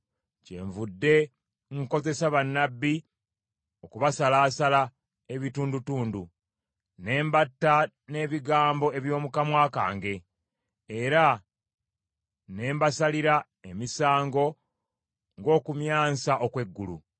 Kyenvudde nkozesa bannabbi okubasalaasala ebitundutundu, ne mbatta n’ebigambo eby’omu kamwa kange, era ne mbasalira emisango ng’okumyansa okw’eggulu.